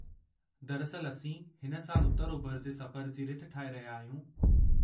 दरिअसल, असीं हिन साल उत्तर-ओभिर जे सफ़रु जी रिथ ठाहे रहिया आहियूं।